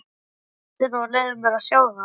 Komdu með hendina og leyfðu mér að sjá það.